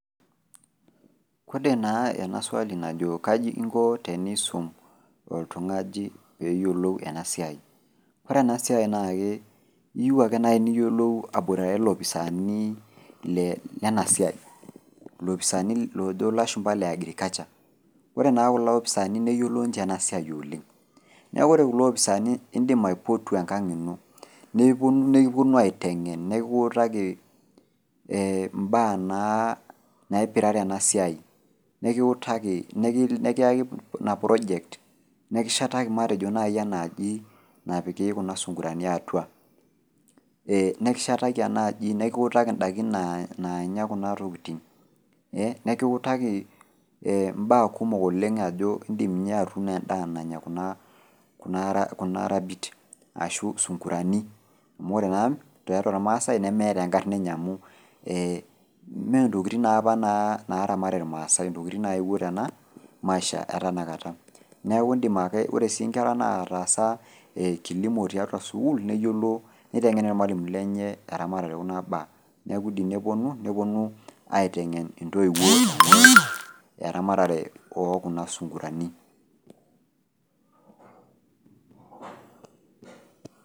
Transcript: kode naa ena swali najo kaaji iinko teniisum oltung'ani pee eyiolou eena siai. Oore eena siai naa eyieu ake naaji niyiolou aboitare ilopisaani lena siai. Ilopisani loojo ilashumba iile agriculture. Iyiolo naa kulo opisani neyiolo ninche eena siai oleng'. Niaku iyolo kulo opisani naa iidim aipotu enkang' iino, nikiponu nekiponu aiteng'en nekiutaki imbaa naipirare ena siai nekiutaki, nekiyaki iina project nekishetaki matejo naaji enaji napiki kuuna sunkurani atua. Nekishetaki enaaji nekiutaki in'daikin naanya kuna tokitin nekiutaki imbaa kumokoleng' aajo iidim ninye atuuno en'daa naanya kuuna rabit arashu isunkurani. Amuu oore naa tiatua irmaasae nemeeta enkarna eenye amuu imentokitin naapa naramat irmaasae intokitin naetuo teena maisha e taata. Oore sii inkera natasa kilimo tiatua sukuul, neiteng'en irmualimuni lenye eamatare oo kuuna baa. Niaku keidim neponu, neponu aiteng'en intoiwuo eramatare oo kuuna sungurani.